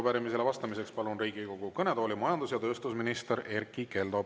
Arupärimisele vastamiseks palun Riigikogu kõnetooli majandus‑ ja tööstusminister Erkki Keldo.